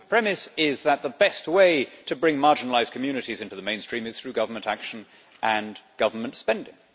The premise is that the best way to bring marginalised communities into the mainstream is through government action and government spending.